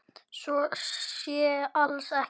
Svo sé alls ekki.